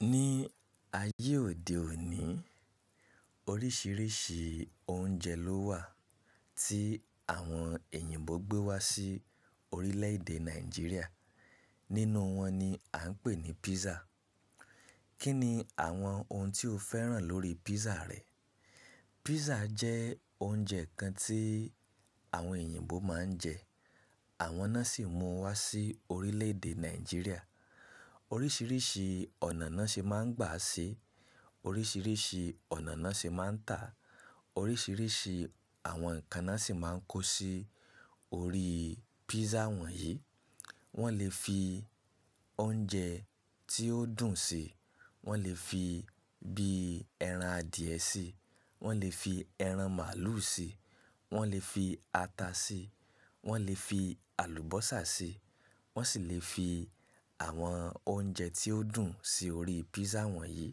Ní ayé òde òní, oríṣiríṣi oúnjẹ ló wà tí àwọn èyìnbó gbé wá sí orílẹ̀ èdè Nàìjíríà. Nínú wọn ni a ń pè ní písà. Kí ni àwọn ohun tí o fẹ́ràn lórí písà rẹ? Písà jẹ́ oúnjẹ kan tí àwọn èyìnbó máa ń jẹ, àwọn náà sì mú wá sí orílẹ̀ èdè Nàìjíríà. Oríṣiríṣi ọ̀nà náà ṣe máa ń gbà sí, oríṣiríṣi ọ̀nà náà ṣe máa ń tà, oríṣiríṣi àwọn ǹkan náà sì máa ń kó sí orí písà wọ̀nyí. Wọ́n lè fi oúnjẹ tí ó dùn sí, wọ́n lè fi bí ẹran adìẹ sí, wọ́n lè fi ẹran màálù sí, wọ́n lè fi ata sí, wọ́n lè fi àlùbọ́sà sí, wọ́n sì lè fi àwọn oúnjẹ tí ó dùn sí orí písà wọ̀nyí.